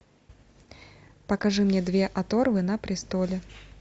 покажи мне две оторвы на престоле